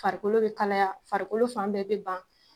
Farikolo bɛ kalaya, farikolo fan bɛɛ bɛ ban.